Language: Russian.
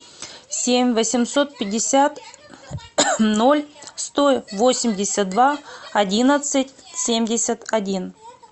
семь восемьсот пятьдесят ноль сто восемьдесят два одиннадцать семьдесят один